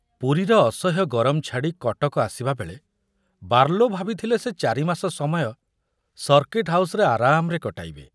ପୁରୀର ଅସହ୍ୟ ଗରମ ଛାଡ଼ି କଟକ ଆସିବାବେଳେ ବାର୍ଲୋ ଭାବିଥିଲେ ସେ ଚାରିମାସ ସମୟ ସର୍କିଟ ହାଉସରେ ଆରାମରେ କଟାଇବେ।